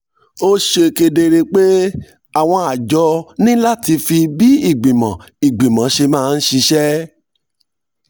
ó ṣe kedere pé àwọn àjọ ní láti fi bí ìgbìmọ̀ ìgbìmọ̀ ṣe máa ń ṣiṣẹ́